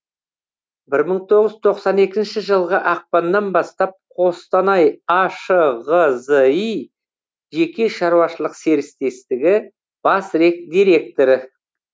бір мың тоғыз жүз тоқсан екінші жылғы ақпаннан бастап қостанай ашғзи жеке шаруашылық серіктестігі бас директоры